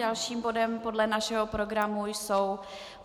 Dalším bodem podle našeho programu jsou